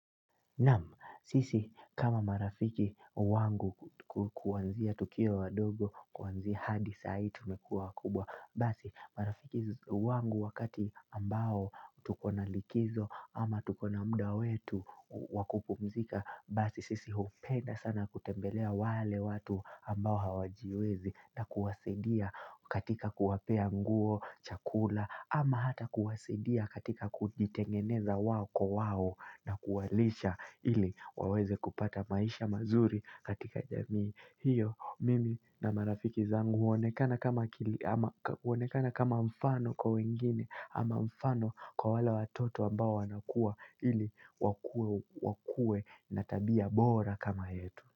Sisi kama marafiki wangu kuanzia tukiwa wadogo kuanzia hadi saa hii tumekua wakubwa basi marafiki wangu wakati ambao tukona likizo ama tukona mda wetu wakupumzika basi sisi upenda sana kutembelea wale watu ambao hawajiwezi na kuwasidia katika kuwapea nguo chakula ama hata kuwasidia katika kujitengeneza wao kwa wao na kuwalisha ili waweze kupata maisha mazuri katika jamii hiyo, mimi na marafiki zangu huonekana kama mfano kwa wengine ama mfano kwa wale watoto ambao wanakua ili wakuwe na tabia bora kama yetu.